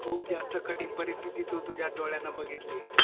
खूप जास्त कठीण परीस्तीत तू तुझ्या डोळयांनी बघितली